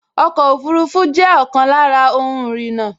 Ọkọ̀ ọfurufú jẹ́ ọ̀kan lára ohun ìrìnnà